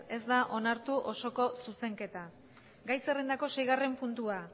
ez da onartu osoko zuzenketa gai zerrendako seigarren puntua